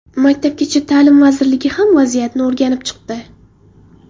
Maktabgacha ta’lim vazirligi ham vaziyatni o‘rganib chiqdi .